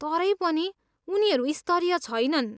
तरै पनि, उनीहरू स्तरीय छैनन्।